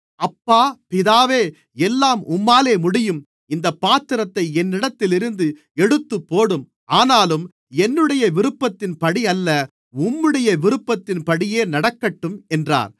அப்பா பிதாவே எல்லாம் உம்மாலே முடியும் இந்தப் பாத்திரத்தை என்னிடத்திலிருந்து எடுத்துப்போடும் ஆனாலும் என்னுடைய விருப்பத்தின்படி அல்ல உம்முடைய விருப்பத்தின்படியே நடக்கட்டும் என்றார்